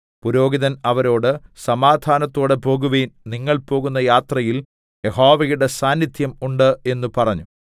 പുരോഹിതൻ അവരോട് സമാധാനത്തോടെ പോകുവിൻ നിങ്ങൾ പോകുന്ന യാത്രയിൽ യഹോവയുടെ സാന്നിധ്യം ഉണ്ട് എന്ന് പറഞ്ഞു